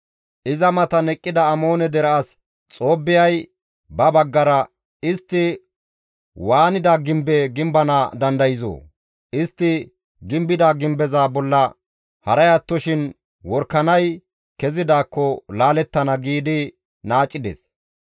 Iza matan eqqida Amoone dere as Xoobbiyay ba baggara, «Istti waanida gimbe gimbana dandayzoo? Istti gimbida gimbeza bolla haray attoshin worakanay kezidaakko laalettana!» giidi naacides.